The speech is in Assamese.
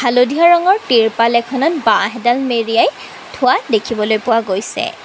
হালধীয়া ৰঙৰ তিৰপাল এখনত বাঁহ এডাল মেৰিয়াই থোৱা দেখিবলৈ পোৱা গৈছে।